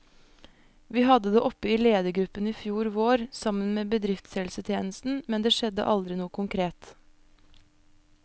Vi hadde det oppe i ledergruppen i fjor vår, sammen med bedriftshelsetjenesten, men det skjedde aldri noe konkret.